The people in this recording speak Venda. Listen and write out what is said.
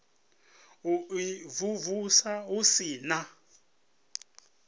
u imvumvusa hu si na